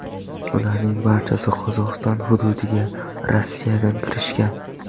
Ularning barchasi Qozog‘iston hududiga Rossiyadan kirishgan.